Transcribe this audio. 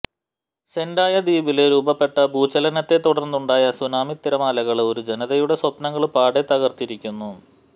സെന്ഡായ ദ്വീപില് രൂപപ്പെട്ട ഭൂചലനത്തെ തുടര്ന്നുണ്ടായ സൂനാമിത്തിരമാലകള് ഒരു ജനതയുടെ സ്വപ്നങ്ങള് പാടെ തകര്ത്തിരിക്കുന്നു